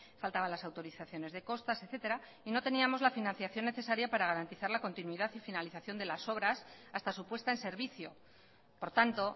faltaban las autorizaciones de costas etcétera y no teníamos la financiación necesaria para garantizar la continuidad y finalización de las obras hasta su puesta en servicio por tanto